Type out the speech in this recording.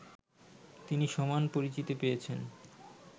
তিনি সমান পরিচিতি পেয়েছেন